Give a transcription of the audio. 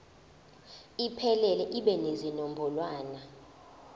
iphelele ibe nezinombolwana